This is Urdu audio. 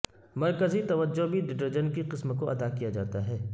مرکزی توجہ بھی ڈٹرجنٹ کی قسم کو ادا کیا جاتا ہے